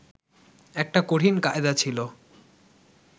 একটা কঠিন কায়দা ছিল